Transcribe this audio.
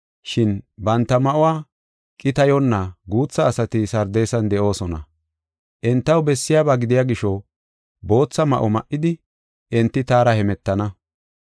Shin banta ma7uwa qitayonna guutha asati Sardeesan de7oosona. Entaw bessiyaba gidiya gisho bootha ma7o ma7idi enti taara hemetana.